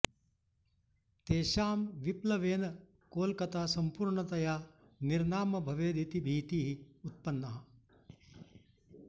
तेषां विप्लवेन कोलकता सम्पूर्णतया निर्नाम भवेदिति भीतिः उत्पन्ना